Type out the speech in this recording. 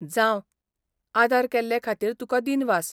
जावं, आदार केल्ले खातीर तुका दिनवास.